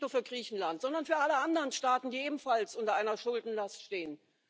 Nicht nur für Griechenland, sondern für alle anderen Staaten, die ebenfalls unter einer Schuldenlast stehen?